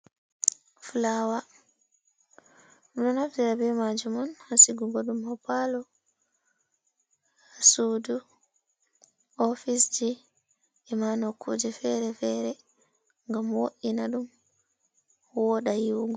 Fulawa ɗo nabtira be maji on hasigugo dum ha palo, sudu, ofice ji, ima nokkuje fere-fere gam wo’ina dum, woda yiwugo.